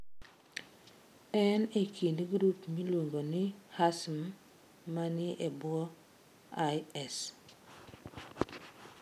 En e kind grup miluongo ni Hasm ma ni e bwo IS.